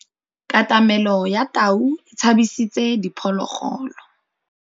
Katamêlô ya tau e tshabisitse diphôlôgôlô.